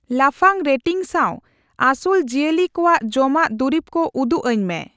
ᱞᱟᱯᱷᱟᱝ ᱨᱮᱴᱤᱝ ᱥᱟᱶ ᱟᱹᱥᱩᱞ ᱡᱤᱭᱟᱹᱞᱤ ᱠᱚᱣᱟᱜ ᱡᱚᱢᱟᱜ ᱫᱩᱨᱤᱵᱠᱚ ᱩᱫᱩᱜᱟᱹᱧ ᱢᱮ ᱾